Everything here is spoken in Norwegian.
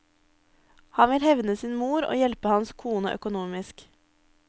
Han vil hevne sin bror og hjelpe hans kone økonomisk.